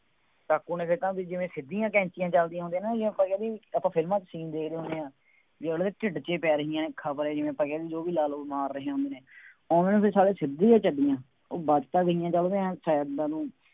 ਕਾਕੂ ਨੇ ਫੇਰ ਤਾਂ ਵੀ ਜਿਵੇਂ ਸਿੱਧੀਆਂ ਕੈਂਚੀਆਂ ਚੱਲਦੀਆਂ ਹੁੰਦੀਆਂ, ਬਈ ਆਪਾਂ ਕਹਿ ਦੇਈਏ, ਆਪਾਂ ਫਿਲਮਾਂ ਚ scene ਦੇਖਦੇ ਹੁੰਦੇ ਹਾਂ, ਬਈ ਅਗਲੇ ਦੇ ਢਿੱਲ ਚ ਹੀ ਪੈ ਰਹੀਆਂ ਨੇ, ਖਬਰ ਹੈ ਜਿਵੇਂ ਆਪਾਂ ਕਹਿ ਦੇਈਏ ਉਹ ਵੀ ਲਾ ਲਉ, ਮਾਰ ਰਹੇ ਹਨ। ਹੁਣ ਉਹਨਾ ਦੇ ਸਾਰੇ ਸਿੱਧੀਆਂ ਚੱਲੀਆਂ। ਉਹ ਵੱਜ ਤਾਂ ਗਈਆਂ ਜਦ ਉਹਨੇ ਆਂਏਂ side ਵੱਲ ਨੂੰ